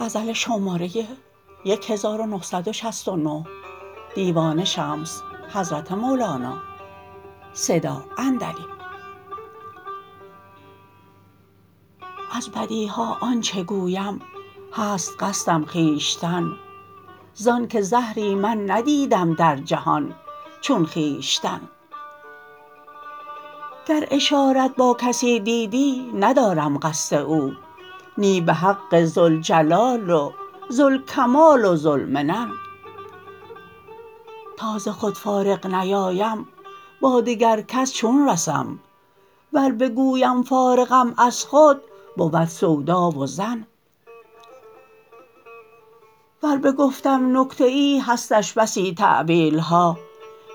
از بدی ها آن چه گویم هست قصدم خویشتن زانک زهری من ندیدم در جهان چون خویشتن گر اشارت با کسی دیدی ندارم قصد او نی به حق ذوالجلال و ذوالکمال و ذوالمنن تا ز خود فارغ نیایم با دگر کس چون رسم ور بگویم فارغم از خود بود سودا و ظن ور بگفتم نکته ای هستش بسی تأویل ها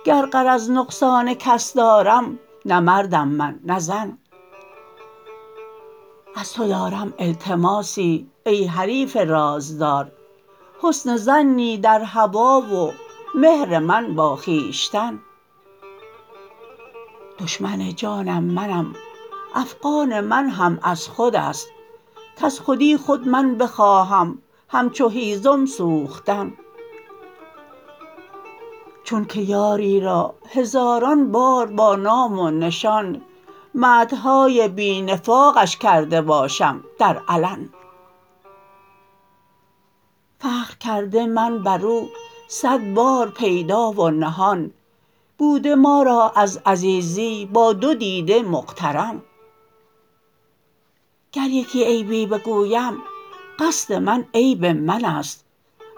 گر غرض نقصان کس دارم نه مردم من نه زن از تو دارم التماسی ای حریف رازدار حسن ظنی در هوی و مهر من با خویشتن دشمن جانم منم افغان من هم از خود است کز خودی خود من بخواهم همچو هیزم سوختن چونک یاری را هزاران بار با نام و نشان مدح های بی نفاقش کرده باشم در علن فخر کرده من بر او صد بار پیدا و نهان بوده ما را از عزیزی با دو دیده مقترن گر یکی عیبی بگویم قصد من عیب من است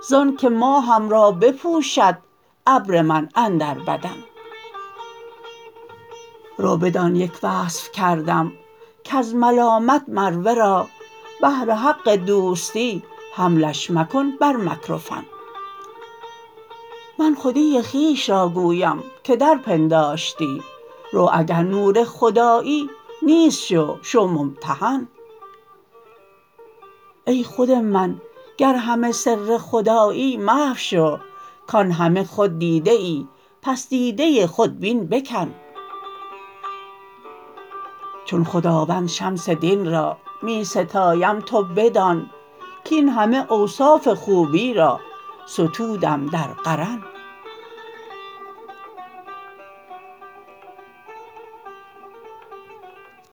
زانک ماهم را بپوشد ابر من اندر بدن رو بدان یک وصف کردم کز ملامت مر ورا بهر حق دوستی حملش مکن بر مکر و فن من خودی خویش را گویم که در پنداشتی رو اگر نور خدایی نیست شو شو ممتحن ای خود من گر همه سر خدایی محو شو کان همه خود دیده ای پس دیده خودبین بکن چون خداوند شمس دین را می ستایم تو بدان کاین همه اوصاف خوبی را ستودم در قرن